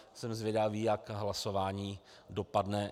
Jsem zvědavý, jak hlasování dopadne.